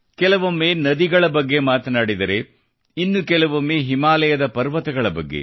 ಕೆಲವೊಮ್ಮೆ ನದಿ ಬಗ್ಗೆ ಮಾತಾಡಿದರೆ ಇನ್ನು ಕೆಲವೊಮ್ಮೆ ಹಿಮಾಲಯದ ಪರ್ವತಗಳ ಬಗ್ಗೆ